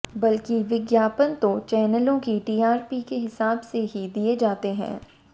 बल्कि विज्ञापन तो चैनलों की टीआरपी के हिसाब से ही दिए जाते हैं